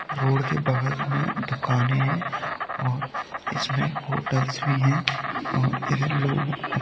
road के बगल में दुकाने है और इसमें होटल्स भी है और इधर लोग --